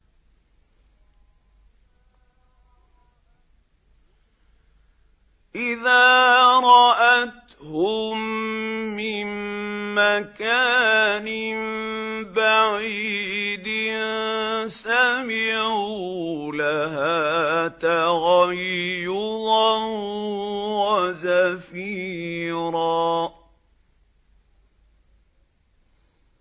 إِذَا رَأَتْهُم مِّن مَّكَانٍ بَعِيدٍ سَمِعُوا لَهَا تَغَيُّظًا وَزَفِيرًا